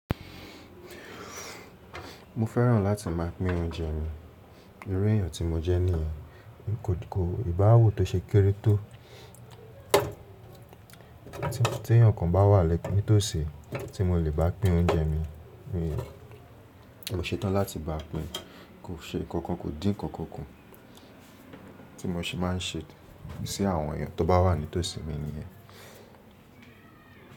Mo fẹ́ràn láti máa pín oúnjẹ mi. Irú èèyàn tí mo jẹ́ nìyẹn. Kò ìbáwu tó ṣe kéré tó tí eeyan kan bá wà ni tòsí tí mo lè bá pín oúnjẹ mi. Mi ò, mo ṣe tán láti bá pín. Kò ṣe ǹkan nkan, kò dín ǹkan nkan ku, tí mo ṣe má ń se sí àwọn èèyàn tó bá wà ní tòsí mi nìyẹn.